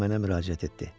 O mənə müraciət etdi.